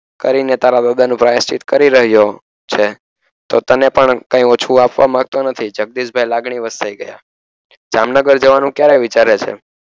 કરીને તારા પ્ર્યશ્ચિત કરી રહ્યો છે જો તને પણ કઈ ઓછું આપવા માંગતો નથી જગદીશભાઇ લાગણી વરસાઈ ગયા જામનગર જવાનું ક્યારે વિચારે છે